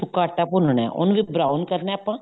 ਸੁੱਕਾ ਆਟਾ ਭੁੰਨਣਾ ਉਹਨੂੰ ਜਦ brown ਕਰਨਾ ਆਪਾਂ